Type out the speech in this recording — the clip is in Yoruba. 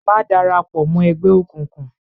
Má dara pọ̀ mọ́ ẹgbẹ́ òkùnkùn!